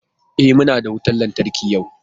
E, muna da wutan lantarki yau.